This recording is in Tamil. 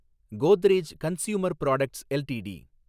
Godrej consumer products LTD